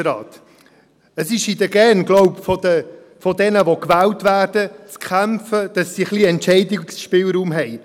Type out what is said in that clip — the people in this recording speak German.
Es ist, glaube ich, in den Genen jener, die gewählt werden, dafür zu kämpfen, dass sie etwas Entscheidungsspielraum haben.